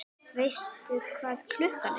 Veistu hvað klukkan er?